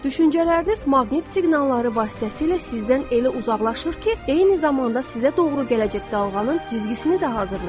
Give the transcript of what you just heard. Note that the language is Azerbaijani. Düşüncələriniz maqnit siqnalları vasitəsilə sizdən elə uzaqlaşır ki, eyni zamanda sizə doğru gələcək dalğanın düzgüsünü də hazırlayır.